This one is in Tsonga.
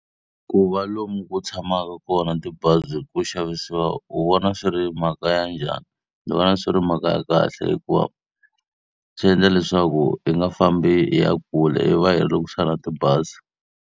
Ku va lomu ku tshamaka kona tibazi ku xavisiwa u vona swi ri mhaka ya njhani? Ni vona swi ri mhaka ya kahle hikuva swi endla leswaku hi nga fambi hi ya kule hi va hi ri loku tibazi.